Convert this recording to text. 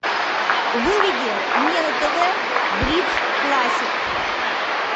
выведи мне на тв бридж классик